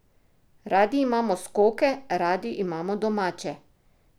Radi imamo skoke, radi imamo domače!